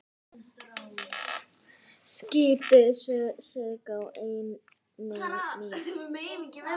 Skipið sökk á einni mínútu.